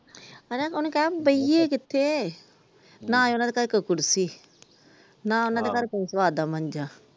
ਹਣਾ ਉਹਨਾਂ ਕਹਿ ਬਹਿਏ ਕਿੱਥੇ ਨਾ ਉਹਨਾਂ ਦੇ ਘਰ ਕੋਈ ਕੁਰਸੀ ਨਾ ਕੋਈ ਕੋਈ ਕੁ ਅਧਾ ਮੰਜਾ ।